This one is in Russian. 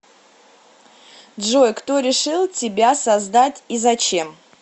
джой кто решил тебя создать и зачем